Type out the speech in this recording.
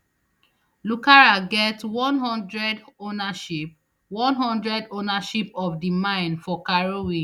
lucara get one hundred ownership one hundred ownership of di mine for karowe